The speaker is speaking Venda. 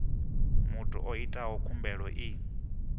muthu o itaho khumbelo i